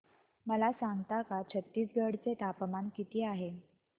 मला सांगता का छत्तीसगढ चे तापमान किती आहे